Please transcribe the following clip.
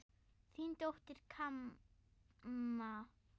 Þín dóttir, Kamma.